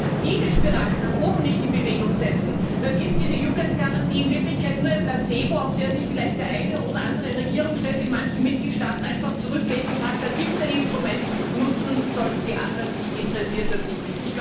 Wenn wir diese Spirale nicht nach oben in Bewegung setzen, dann ist diese Jugendgarantie in Wirklichkeit nur ein Placebo, auf das sich vielleicht der eine oder andere Regierungschef in manchen Mitgliedstaaten einfach zurücklehnt und sagt Da gibt es ein Instrument, nutzen sollen es die Anderen, mich interessiert das nicht.